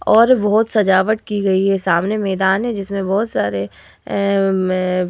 और बोहोत सजावट की गई है। सामने मैदान है जिसमें बहोत सारे ऐं में --